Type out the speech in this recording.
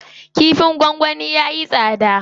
Kifin gwangwani yayi tsada.